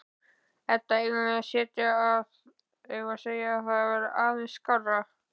Edda: Eigum við að segja að það verði aðeins skárra?